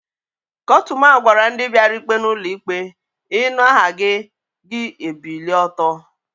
Kotuma gwara ndi biara ikpe n'ulo ikpe, "inu aha gi, gi ebilie oto"